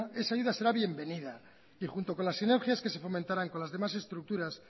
esa ayuda será bienvenida y junto con las sinergias que se fomentarán con las demás estructuras